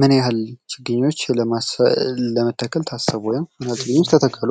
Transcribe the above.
ምን ያህል ችግኝ ለመተከል ታሰቡ? ወይም ምን ያህል ችግኝ ተተከሉ?